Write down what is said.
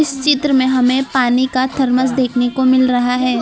चित्र में हमें पानी का थर्मस देखने को मिल रहा है।